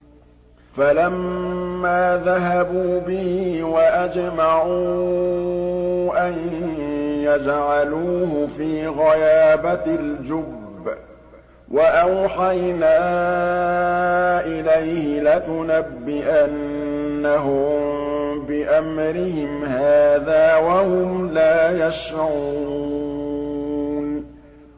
فَلَمَّا ذَهَبُوا بِهِ وَأَجْمَعُوا أَن يَجْعَلُوهُ فِي غَيَابَتِ الْجُبِّ ۚ وَأَوْحَيْنَا إِلَيْهِ لَتُنَبِّئَنَّهُم بِأَمْرِهِمْ هَٰذَا وَهُمْ لَا يَشْعُرُونَ